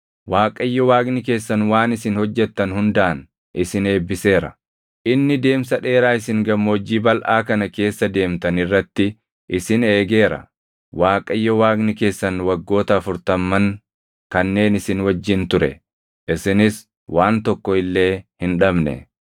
Waaqayyo Waaqni keessan waan isin hojjettan hundaan isin eebbiseera. Inni deemsa dheeraa isin gammoojjii balʼaa kana keessa deemtan irratti isin eegeera. Waaqayyo Waaqni keessan waggoota afurtamman kanneen isin wajjin ture; isinis waan tokko illee hin dhabne.